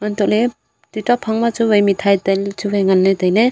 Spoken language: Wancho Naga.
antoley tuita phang ma chu wai mithai tailey chu wai nganley tailey.